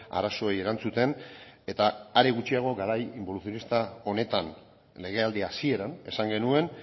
arazoei erantzuten eta are gutxiago garai inboluzionista honetan legealdi hasieran esan genuen